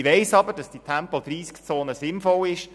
Ich weiss aber, dass diese Tempo-30-Zone sinnvoll ist.